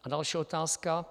A další otázka.